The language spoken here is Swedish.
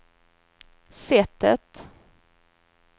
sättet